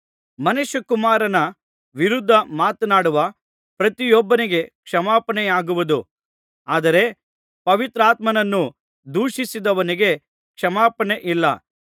ಮನುಷ್ಯಕುಮಾರನ ವಿರುದ್ಧ ಮಾತನಾಡುವ ಪ್ರತಿಯೊಬ್ಬನಿಗೆ ಕ್ಷಮಾಪಣೆಯಾಗುವುದು ಆದರೆ ಪವಿತ್ರಾತ್ಮನನ್ನು ದೂಷಿಸಿದವನಿಗೆ ಕ್ಷಮಾಪಣೆಯಿಲ್ಲ